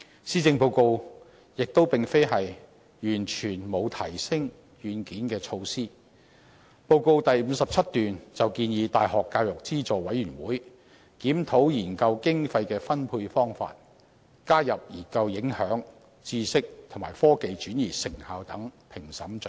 施政報告亦非完全沒有提升"軟件"的措施，報告第57段便建議大學教育資助委員會檢討研究經費的分配方法，加入研究影響、知識及科技轉移成效等評審準則。